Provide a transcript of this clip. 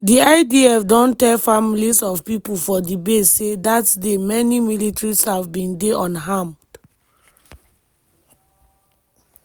di idf don tell families of pipo for di base say dat day many military staff bin dey unarmed.